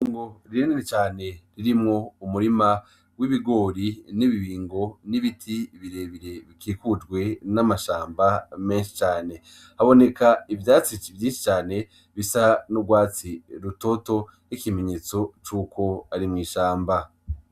Itongo rinini cane ririmwo umurima w'ibigori n'ibibingo n'ibiti birebire bikikujwe n'amashamba menshi cane. Haboneka ivyatsi vyinshi cane bisa n'urwatsi rutoto, ikimenyetso c'uko ari mw'ishamba.